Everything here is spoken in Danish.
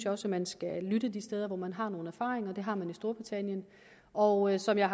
også man skal lytte de steder hvor man har nogle erfaringer og det har man i storbritannien og som jeg